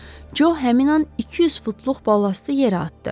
Co həmin an 200 futluq balastı yerə atdı.